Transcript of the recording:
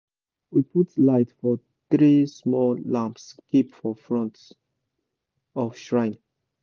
we put light for three small lamps keep for front of shrine